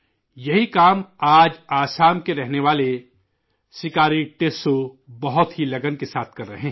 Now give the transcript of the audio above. یہی کام، آج، آسام کے رہنے والے 'سکاری ٹسو' بہت ہی لگن کے ساتھ کر رہے ہے